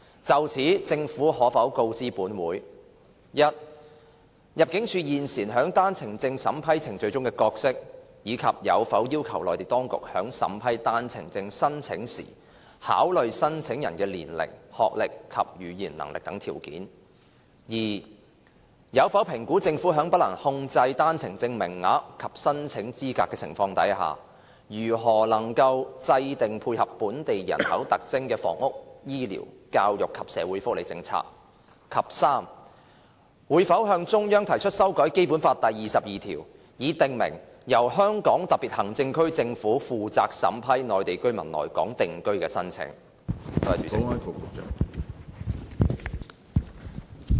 就此，政府可否告知本會：一入境事務處現時在單程證審批程序中有何角色，以及有否要求內地當局在審批單程證申請時考慮申請人的年齡、學歷及語言能力等條件；二有否評估政府在不能控制單程證名額及申請資格的情況下，如何能夠制訂配合本港人口特徵的房屋、醫療、教育及社會福利政策；及三會否向中央提出修改《基本法》第二十二條，以訂明由香港特別行政區政府負責審批內地居民來港定居的申請？